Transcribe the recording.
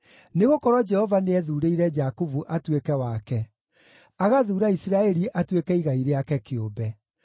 Nĩgũkorwo Jehova nĩethuurĩire Jakubu atuĩke wake, agathuura Isiraeli atuĩke igai rĩake kĩũmbe.